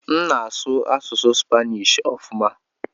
M na-asụ asụsụ Spanishi ọfuma.